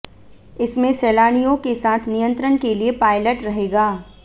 इसमें सैलानियों के साथ नियंत्रण के लिए पायलट रहेगा